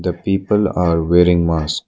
The people are wearing mask.